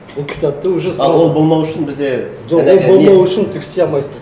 ол кітапты уже сол а бұл болмауы үшін бізде жоқ ол болмау үшін түк істей алмайсың